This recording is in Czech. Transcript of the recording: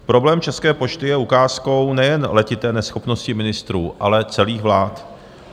Problém České pošty je ukázkou nejen letité neschopnosti ministrů, ale celých vlád.